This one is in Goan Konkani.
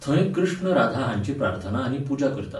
थंय कृष्ण राधा हांचीं प्रार्थना आनी पुजा करतात.